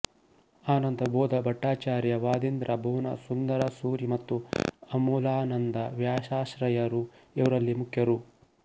ಆನಂದಬೋಧಭಟ್ಟಾಚಾರ್ಯ ವಾದೀಂದ್ರ ಭುವನಸುಂದರಸೂರಿ ಮತ್ತು ಅಮಲಾನಂದ ವ್ಯಾಸಾಶ್ರಯರು ಇವರಲ್ಲಿ ಮುಖ್ಯರು